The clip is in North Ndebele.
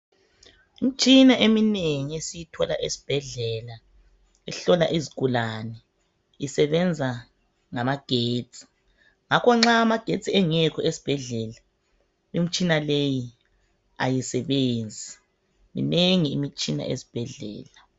Imitshina eminengi esiyithola esibhedlela, ihlola izigulane, isebenza ngamagetsi. Ngakho nxa amagetsi engekho esibhedlela, imitshina leyi, kayisebenzi. Minengi imitshina esibhedlela.